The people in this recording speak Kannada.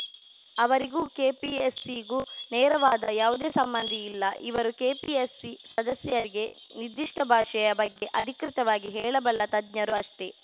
ಅವರಿಗೂ ಕೆಪಿಎಸ್‌ಸಿಗೂ ನೇರವಾದ ಯಾವುದೇ ಸಂಬಂಧ ಇಲ್ಲ ಇವರು ಕೆಪಿಎಸ್‌ಸಿ ಸದಸ್ಯರಿಗೆ ನಿರ್ದಿಷ್ಟಭಾಷೆಯ ಬಗ್ಗೆ ಅಧಿಕೃತವಾಗಿ ಹೇಳಬಲ್ಲ ತಜ್ಞರು ಅಷ್ಟೆ